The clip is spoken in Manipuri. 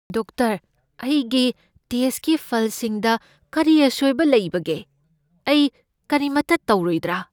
ꯗꯣꯛꯇꯔ, ꯑꯩꯒꯤ ꯇꯦꯁꯠꯀꯤ ꯐꯜꯁꯤꯡꯗ ꯀꯔꯤ ꯑꯁꯣꯏꯕ ꯂꯩꯕꯒꯦ? ꯑꯩ ꯀꯔꯤꯃꯠꯇ ꯇꯧꯔꯣꯏꯗ꯭ꯔꯥ?